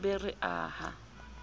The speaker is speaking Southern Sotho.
be re be re aha